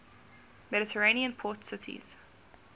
mediterranean port cities